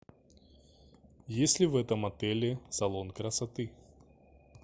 есть ли в этом отеле салон красоты